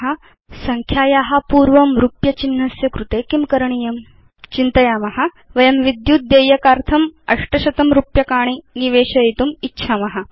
अधुना यदि वयं संख्याया पूर्वं रूप्य चिह्नम् इच्छाम तर्हि किं करणीयम् 160 चिन्तयाम वयं विद्युत् देयकार्थं इलेक्ट्रिसिटी बिल अष्टशतं रूप्यकाणि रुपीस् 800 निवेशयितुम् इच्छाम